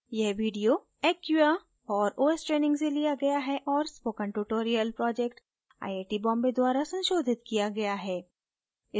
यह video acquia और os training से लिया गया है और spoken tutorial project IIT Bombay द्वारा संशोधित किया गया है